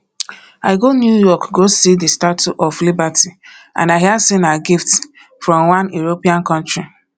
i go new york go see the statue of liberty and i hear say na gift from one european country